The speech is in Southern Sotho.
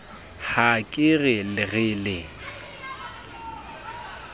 ha ke re re le